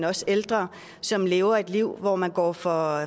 også ældre som lever et liv hvor man går for